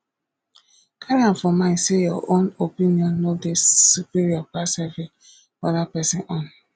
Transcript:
carry am for mind sey your own opinion no dey superior pass every oda person own